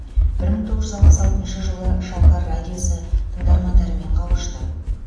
бір мың тоғыз жүз алпыс алтыншы жылы шалқар радиосы тыңдармандарымен қауышты